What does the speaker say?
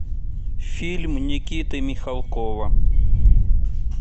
фильм никиты михалкова